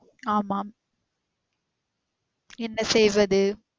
ஆமாம் என்ன செய்வது